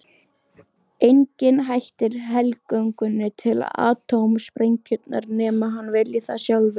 Enginn hættir helgöngunni til atómsprengjunnar nema hann vilji það sjálfur.